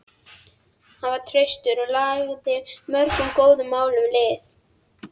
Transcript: Hann var traustur og lagði mörgum góðum málum lið.